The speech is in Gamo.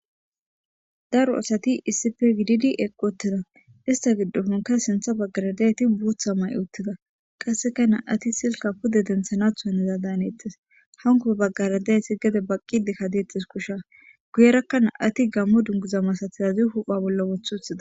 Daro asati issife giddi eqqoottida ista giddohonka sintha baggaradayeti buutha may uttida qasseka na7ati silka pude denthanathuaniza daanettes hanko baggaradayti gede baqqidi kadeetis kusha guyerakka na7ati gammo dunguza masatizazi hupha bolla wothu huthida.